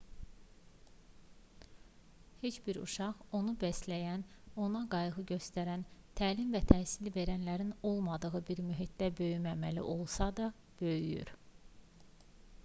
neç bir uşaq onu bəsləyən ona qayğı göstərən təlim və təhsil verənlərin olmadığı bir mühitdə böyüməməli olsa da böyüyür